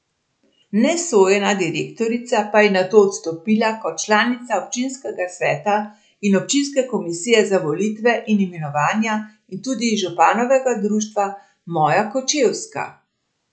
Nesojena direktorica pa je nato odstopila kot članica občinskega sveta in občinske komisije za volitve in imenovanja in tudi iz županovega društva Moja Kočevska.